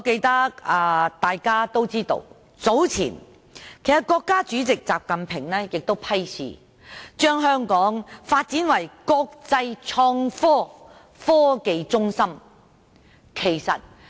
大家皆知道，國家主席習近平早前批示，要把香港發展為國際創科科技中心。